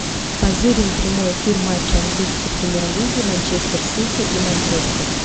позырим прямой эфир матча английской премьер лиги манчестер сити и манчестер